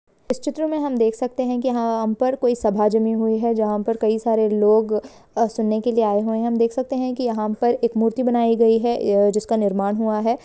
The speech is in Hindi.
इस चित्र में हम देख सकते है की यहां अ-पर कोई सभा जमी हुई है जहां पर कई सारे अ लोग सुनने के लिए आए हुए देख सकते है यहां पर एक मूर्ति बनायी गयी है या जिसका निर्माण हुआ है।